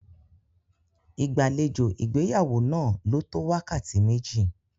Ìgbàlejò ìgbéyàwó náà lò tó wákàtí méjì.